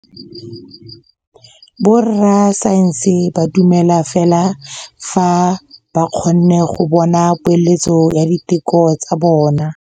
Borra saense ba dumela fela fa ba kgonne go bona poeletsô ya diteko tsa bone.